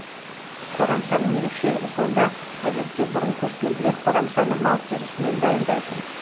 қорамсаның ерекшілігі сонда әдетте бұрын көшпенділер қорамсаны мал терісінен дайындайтын